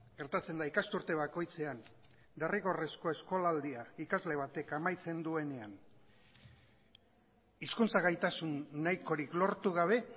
gertatzen da ikasturte bakoitzean derrigorrezko eskolaldia ikasle batek amaitzen duenean hizkuntza gaitasun nahikorik lortu gabe